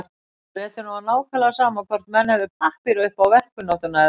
Bretunum var nákvæmlega sama hvort menn hefðu pappíra upp á verkkunnáttuna eða ekki.